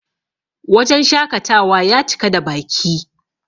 wajen shakatawa ya cika da Baki